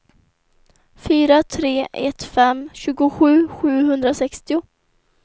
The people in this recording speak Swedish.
fyra tre ett fem tjugosju sjuhundrasextio